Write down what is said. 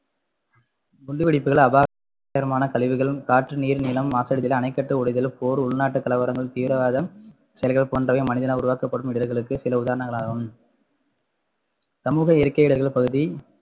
குண்டு வெடிப்புகள் அபாயகரமான கழிவுகள் காற்று நீர் நிலம் மாசடைதல் அணைக்கட்டு உடைதல் போர் உள்நாட்டு கலவரங்கள் தீவிரவாதம் செயல்கள் போன்றவை மனிதனால் உருவாக்கப்படும் இடர்களுக்கு சில உதாரணங்களாகும் சமூக இயற்கை இடர்கள் பகுதி